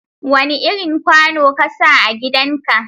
Wani irin kwano ka sa a gidan ka?